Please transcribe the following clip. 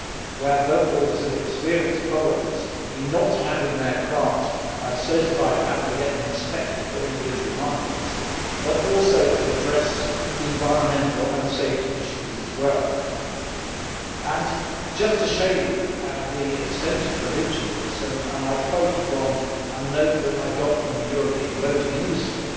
where boatbuilders have experienced problems in not having their craft certified and having to get them inspected for individual markets, as well as to address environmental and safety issues. Just to show you the extent of the reach of this, may I quote from a note that I got from the European Boating Industry,